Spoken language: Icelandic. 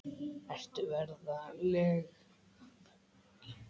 Ertu ferlega fúll?